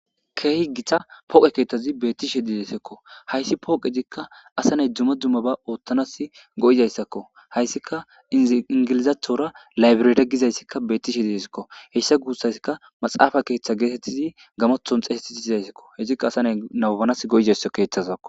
keehi githa pooqe keeththazi beettishe dideessakko hayssi pooqezikka asaney duma dumma ba oottanas go7izayssakko hayssika ingilizaathora laybireda gizayssikka bettishe didesikko heyssa guussayssikka maxaafa keeththa geetettizi gamothon xeesetit izayssakko hezikka asa nay naubanas go7izayssa keeththazakko